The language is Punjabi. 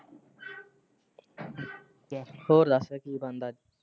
ਹੋਰ ਦਸ ਕੀ ਬਣਦਾ।